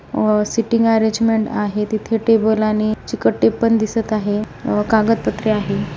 अ seating arrangement आहे तिथ table आणि चिकट टेप पण दिसत आहे आ कागदपत्रे आहेत.